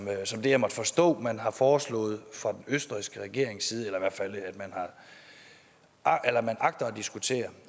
det jeg måtte forstå man har foreslået fra den østrigske regerings side eller i hvert fald agter at diskutere